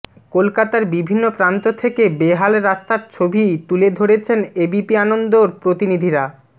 কলকাতার বিভিন্ন প্রান্ত থেকে বেহাল রাস্তার ছবি তুলে ধরেছেন এবিপি আনন্দর প্রতিনিধিরা